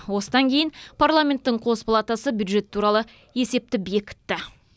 осыдан кейін парламенттің қос палатасы бюджет туралы есепті бекітті